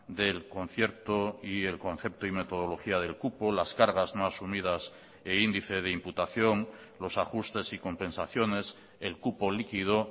del concierto y el concepto y metodología del cupo las cargas no asumidas e índice de imputación los ajustes y compensaciones el cupo liquido